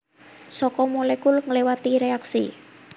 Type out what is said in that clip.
Saka molekul ngléwati reaksi